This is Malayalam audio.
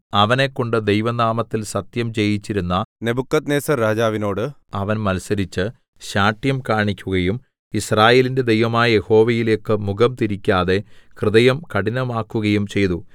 അവനെക്കൊണ്ട് ദൈവനാമത്തിൽ സത്യം ചെയ്യിച്ചിരുന്ന നെബൂഖദ്നേസർരാജാവിനോട് അവൻ മത്സരിച്ച് ശാഠ്യം കാണിക്കുകയും യിസ്രായേലിന്റെ ദൈവമായ യഹോവയിലേക്ക് മുഖം തിരിക്കാതെ ഹൃദയം കഠിനമാക്കുകയും ചെയ്തു